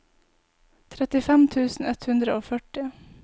trettifem tusen ett hundre og førti